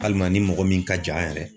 Alima ni mɔgɔ min ka jan yɛrɛ